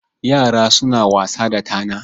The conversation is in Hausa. Yara suna wasa da tana.